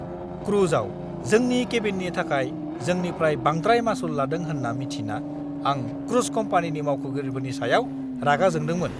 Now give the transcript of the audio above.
क्रुजआव जोंनि केबिननि थाखाय जोंनिफ्राय बांद्राय मासुल लादों होन्ना मिन्थिना आं क्रुज कम्पानिनि मावख'गिरिफोरनि सायाव रागा जोंदोंमोन।